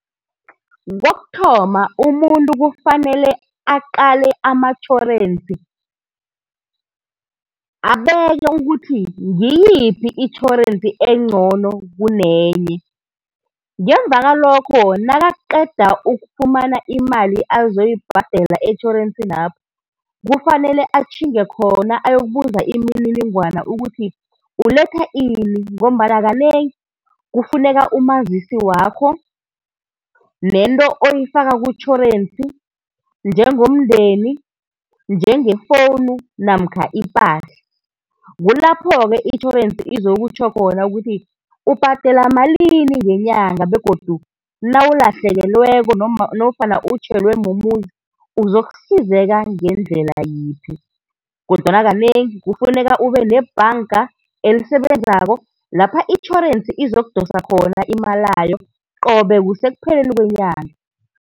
Kokuthoma umuntu kufanele aqale amatjhorensi, abone ukuthi ngiyiphi itjhorensi encono kunenye. Ngemuva kwalokho nakaqeda ukufumana imali azoyibhadela etjhorensinapho, kufanele atjhinge khona ayokubuza imininingwana ayokubuza ukuthi uletha ini ngombana kanengi kufuneka umazisi wakho, nento oyifaka kutjhorensi njengomndeni, njengefowunu namkha ipahla. Kulapho-ke itjhorensi izokutjho khona ukuthi ubhadela malini ngenyaga begodu nawulahlekelweko nofana utjhelwe mumuzi uzokusizeka ngendlela yiphi. Kodwana kanengi kufuneka ube nebhanka elisebenzako lapha itjhorensi izokudosa khona imalayo qobe kusekupheleni kwenyanga.